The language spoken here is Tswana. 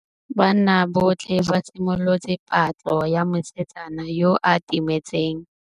Banna botlhê ba simolotse patlô ya mosetsana yo o timetseng.